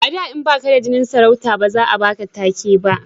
a da in baka da jinin sarauta ba za a baka take ba